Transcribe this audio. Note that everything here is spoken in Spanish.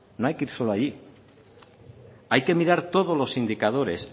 no hay que ir solo allí hay que mirar todos los indicadores